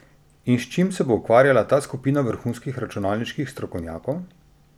In s čim se bo ukvarjala ta skupina vrhunskih računalniških strokovnjakov?